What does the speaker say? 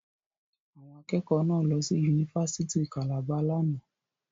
Àwọn akẹ́kọ̀ọ́ náà lọ sí Yunifásítì Calabar lánàá.